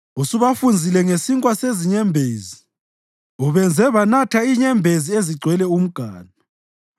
Usubafunzile ngesinkwa sezinyembezi; ubenze banatha inyembezi ezigcwele umganu.